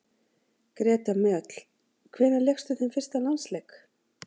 Greta Mjöll Hvenær lékstu þinn fyrsta landsleik?